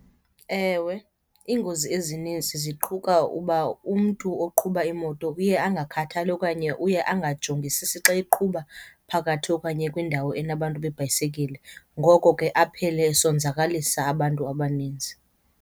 Ewe, iingozi ezininzi ziquka uba umntu oqhuba imoto uye angakhathali okanye uye angajongisisi xa eqhuba phakathi okanye kwindawo enabantu beebhayisekile. Ngoko ke aphele esonzakalisa abantu abaninzi.